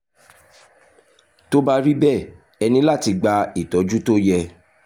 tó bá rí bẹ́ẹ̀ ẹ ní láti gba ìtọ́jú tó yẹ